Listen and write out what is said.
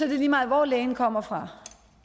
det lige meget hvor lægen kommer fra